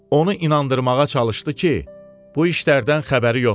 Onu inandırmağa çalışdı ki, bu işlərdən xəbəri yoxdur.